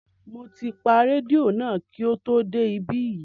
Mo ti pa rédíò náà kí o tó dé ibí yìí